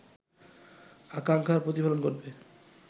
আকাঙ্ক্ষার প্রতিফলন ঘটবে